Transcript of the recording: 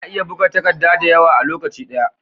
Ana iya buga takadda dayawa a lokaci daya?